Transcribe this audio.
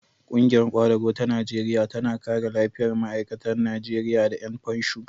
Ƙungiyar ƙwadago ta Najeriya tana kare lafiyar ma'aikata Najeriya da ƴan fansho.